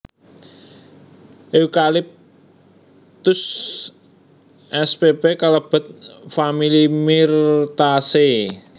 Eucalyptus spp kalebet famili Myrtaceae